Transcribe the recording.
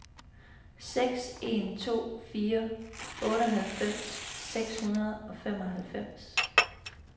seks en to fire otteoghalvfems seks hundrede og femoghalvfems